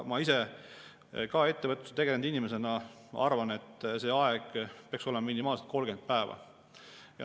Ma ise ka ettevõtlusega tegelenud inimesena arvan, et see aeg peaks olema minimaalselt 30 päeva.